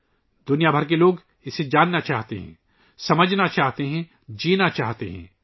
پوری دنیا کے لوگ اسے جاننا چاہتے ہیں، سمجھنا چاہتے ہیں، جینا چاہتے ہیں